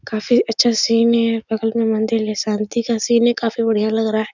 काफी अच्छा सीन है बगल मे मंदिल शान्ति का सीन है काफी बढ़िया लग रहा है।